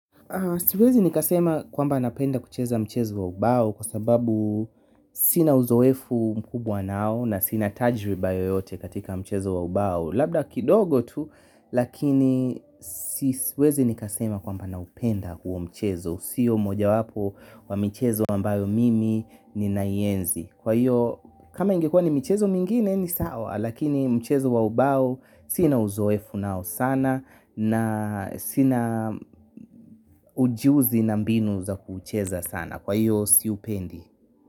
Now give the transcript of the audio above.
Siwezi nikasema kwamba napenda kucheza mchezo wa ubao kwa sababu sina uzoefu mkubwa nao na sina tajriba yoyote katika mchezo wa ubao. Labda kidogo tu lakini siwezi nikasema kwamba naupenda huo mchezo. Sio mojawapo wa mchezo ambayo mimi ninaienzi kwa hiyo kama ingekua ni mchezo mingine ni sawa lakini mchezo wa ubao sina uzoefu nao sana na sina ujuzi na mbinu za kuucheza sana. Kwa hivyo siupendi.